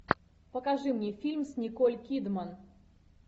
покажи мне фильм с николь кидман